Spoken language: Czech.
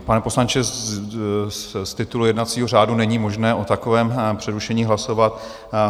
Pane poslanče, z titulu jednacího řádu není možné o takovém přerušení hlasovat.